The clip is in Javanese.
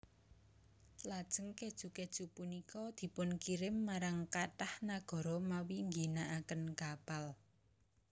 Lajeng kèju kèju punika dipunkirim marang kathah nagara mawi ngginakaken kapal